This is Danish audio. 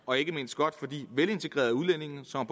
og ikke mindst godt for de velintegrerede udlændinge som